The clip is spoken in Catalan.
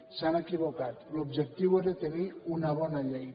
s’han equivocat l’objectiu era tenir una bona llei